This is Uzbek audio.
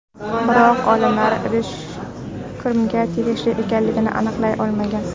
Biroq olimlar idish kimga tegishli ekanligini aniqlay olmagan.